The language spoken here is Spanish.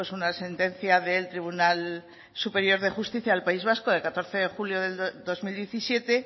una sentencia del tribunal superior de justicia del país vasco de catorce de julio del dos mil diecisiete